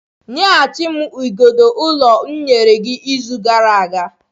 Nyeghachi m igodo ụlọ m nyere gị izu gara aga.